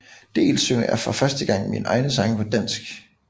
Dels synger jeg for første gang mine egne tekster på dansk